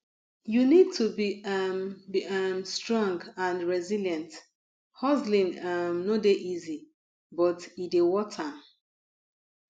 you need to be um be um strong and resilient hustling um no dey easy but e dey worth am